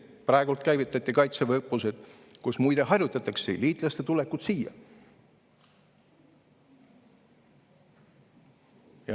Praegu käivitati kaitseväeõppused, kus muide harjutatakse liitlaste tulekut siia.